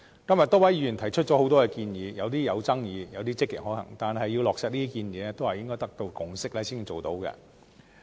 今天多位議員提出很多建議，有些有爭議，有些積極可行。但是，要落實這些建議，就必須得到共識。